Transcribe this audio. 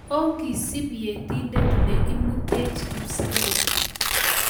Ongisub Yetindet ne immutech kipsengwet